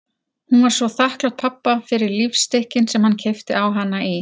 Hún var svo þakklát pabba fyrir lífstykkin sem hann keypti á hana í